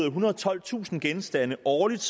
ethundrede og tolvtusind genstande årligt